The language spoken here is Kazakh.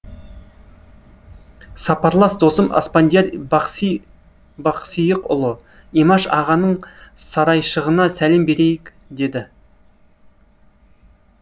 сапарлас досым аспандияр бақсиықұлы имаш ағаның сарайшығына сәлем берейік деді